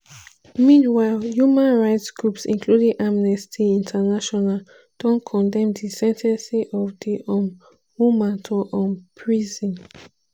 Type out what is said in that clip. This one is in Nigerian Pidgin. meanwhile human rights groups including amnesty international don condemn di sen ten cing of di um woman to um prison.